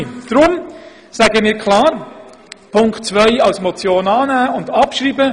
Deshalb wollen wir Punkt 2 als Motion annehmen und abschreiben.